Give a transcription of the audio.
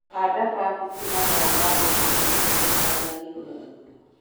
Handa kambĩnji mathaa ma rũcinĩ rĩũa rĩtanahiũha mũno